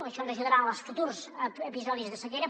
això ens ajudarà en els futurs episodis de sequera